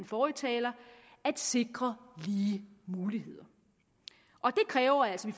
forrige taler at sikre lige muligheder det kræver altså at